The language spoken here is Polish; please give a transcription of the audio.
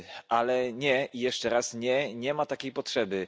Ale nie i jeszcze raz nie nie ma takiej potrzeby!